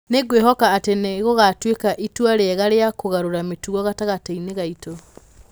Nĩ ngwĩhoka atĩ nĩ gũgatuĩka itua rĩega rĩa kũgarũra mĩtugo gatagatĩ-inĩ gaitũ.